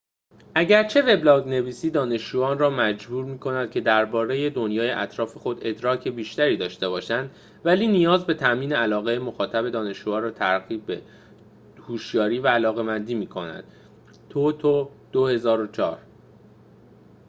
اگرچه وبلاگ‌نویسی «دانشجویان را مجبور می‌کند که درباره دنیای اطراف خود ادراک بیشتری داشته باشند،» ولی نیاز به تأمین علاقه مخاطب دانشجوها را ترغیب به هوشیاری و علاقمندی می‌کند toto 2004